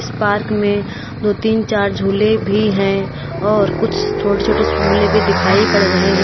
Park में दो तीन चार झूले भी हैं और कुछ छोटे छोटे झूले भी दिखाई पड़ रहे हैं।